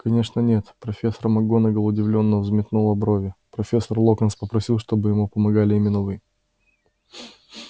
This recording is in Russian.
конечно нет профессор макгонагалл удивлённо взметнула брови профессор локонс попросил чтобы ему помогали именно вы